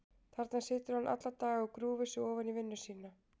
Þarna situr hann alla daga og grúfir sig ofan í vinnu sína.